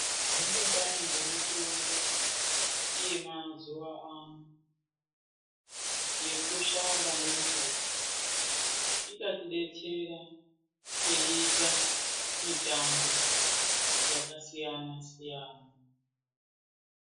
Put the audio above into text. Zvinodai ngemutombo yemazuva ano yekushanda nemvura ingatibetsera teiita mitambo yakasiyana siyana.